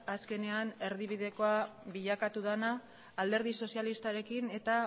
azkenean erdibidekoa bilakatu dena alderdi sozialistarekin eta